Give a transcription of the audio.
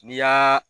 N'i y'a